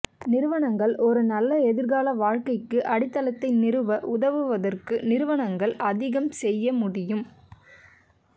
நிறுவனங்கள் ஒரு நல்ல எதிர்கால வாழ்க்கைக்கு அடித்தளத்தை நிறுவ உதவுவதற்கு நிறுவனங்கள் அதிகம் செய்ய முடியும்